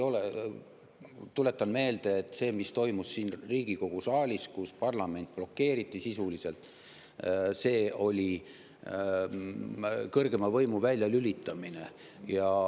Tuletan meelde, et see, mis toimus siin Riigikogu saalis, kui parlament sisuliselt blokeeriti, oli kõrgema võimu väljalülitamine.